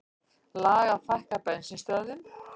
Lag að fækka bensínstöðvum